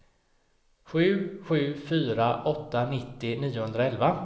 sju sju fyra åtta nittio niohundraelva